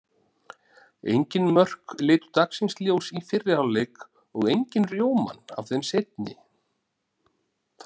Engin mörk litu dagsins ljós í fyrri hálfleik og engin rjómann af þeim seinni.